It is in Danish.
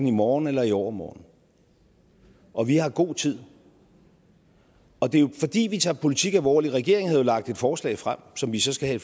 i morgen eller i overmorgen og vi har god tid det er jo fordi vi tager politik alvorligt regeringen havde jo lagt et forslag frem som vi så skal have